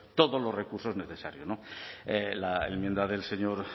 todos los recursos necesarios la enmienda del señor